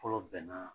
Fɔlɔ bɛnna